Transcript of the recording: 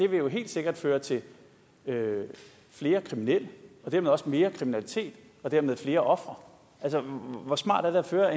vil jo helt sikkert føre til flere kriminelle og dermed også mere kriminalitet og dermed flere ofre hvor smart er det at føre